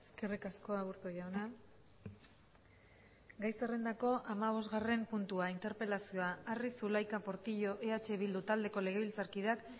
eskerrik asko aburto jauna gai zerrendako hamabosgarren puntua interpelazioa arri zulaika portillo eh bildu taldeko legebiltzarkideak